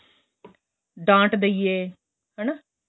ਡਾਂਟ ਦਈਏ ਹੈਨਾ